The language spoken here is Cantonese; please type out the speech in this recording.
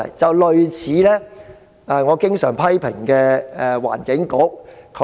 情況便一如我經常批評的環境局的情況般。